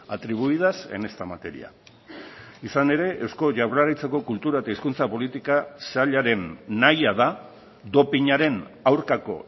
atribuidas en esta materia izan ere eusko jaurlaritzako kultura eta hizkuntza politika sailaren nahia da dopinaren aurkako